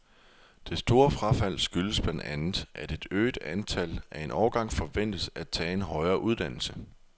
Det store frafald skyldes blandt andet, at et øget antal af en årgang forventes at tage en højere uddannelse.